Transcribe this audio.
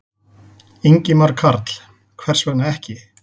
Ingimar Karl: Hvers vegna ekki?